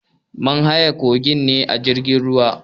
Mun haye kogin ne da jirgin ruwa.